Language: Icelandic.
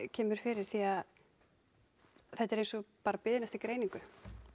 kemur fyrir því þetta er eins og bara biðin eftir greiningu